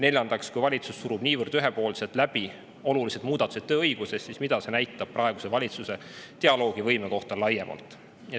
Neljandaks, kui valitsus surub niivõrd ühepoolselt läbi olulised muudatused tööõiguses, siis mida see näitab praeguse valitsuse dialoogivõime kohta laiemalt?